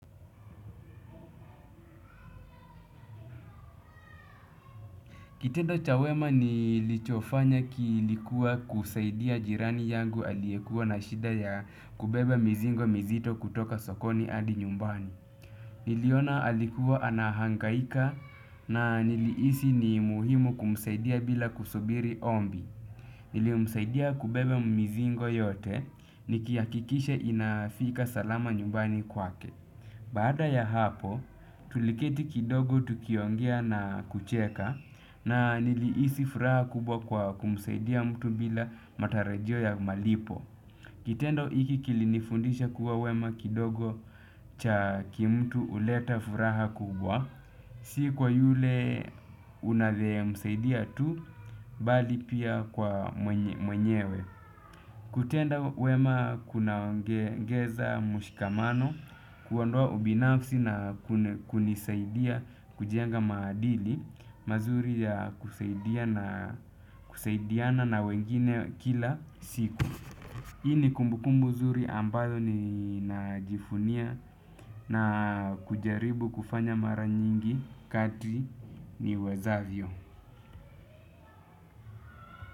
Kitendo cha wema nilichofanya kilikuwa kusaidia jirani yangu aliyekuwa na shida ya kubebe mizigo mizito kutoka sokoni hadi nyumbani. Niliona alikuwa anahangaika na nilihisi ni muhimu kumsaidia bila kusubiri ombi. Nilimsaidia kubebe mizigo yote nikihakikisha inafika salama nyumbani kwake. Baada ya hapo, tuliketi kidogo tukiongea na kucheka na nilihisi furaha kubwa kwa kumsaidia mtu bila matarajio ya malipo. Kitendo hiki kilinifundisha kuwa wema kidogo cha kimtu huleta furaha kubwa, si kwa yule unavye msaidia tu, bali pia kwa mwenyewe. Kutenda wema kunaongeza mshikamano kuondoa ubinafsi na kunisaidia kujenga madili mazuri ya kusaidiana na wengine kila siku. Hii ni kumbukumbu zuri ambayo ni najivunia na kujaribu kufanya mara nyingi kati niwezavyo.